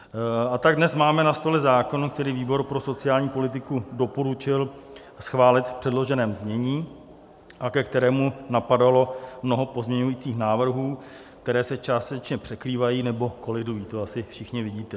A tak dnes máme na stole zákon, který výbor pro sociální politiku doporučil schválit v předloženém znění a ke kterému napadalo mnoho pozměňujících návrhů, které se částečně překrývají nebo kolidují, to asi všichni vidíte.